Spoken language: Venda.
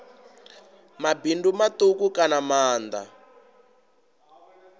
mabindu matuku kana maanda a